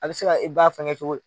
A bɛ se ka e ba fɛngɛ cogo di?